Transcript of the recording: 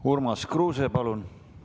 Urmas Kruuse, palun!